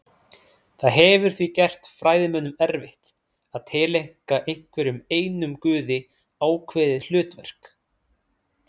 Það hefur því gert fræðimönnum erfitt að tileinka einhverjum einum guði ákveðið hlutverk.